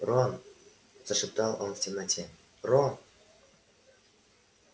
рон зашептал он в темноте рон